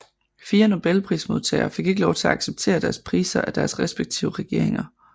Fire Nobelprismodtagere fik ikke lov til at acceptere deres priser af deres respektive regeringer